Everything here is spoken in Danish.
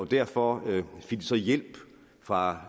derfor fik de så hjælp fra